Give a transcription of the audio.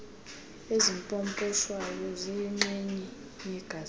ezipoposhwayo ziyinxenye yegazethi